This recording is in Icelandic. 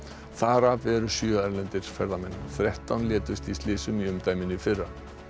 þar af eru sjö erlendir ferðamenn þrettán létust í slysum í umdæminu í fyrra